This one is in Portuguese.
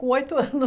Com oito